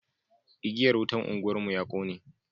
igiyar wutan unguwar mu ya kone